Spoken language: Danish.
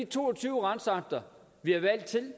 to og tyve retsakter vi har valgt til